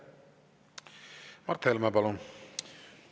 Mart Helme, palun!